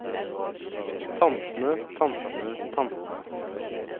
tantene tantene tantene